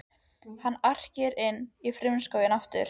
Hann arkar inn í frumskóginn aftur.